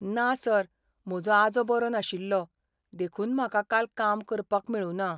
ना सर, म्हजो आजो बरो नाशिल्लो, देखून म्हाका काल काम करपाक मेळुना.